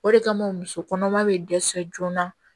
O de kama muso kɔnɔma be dɛsɛ joona